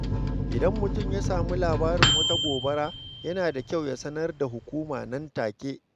Idan mutum ya samu labarin wata gobara, yana da kyau ya sanar da hukuma nan take.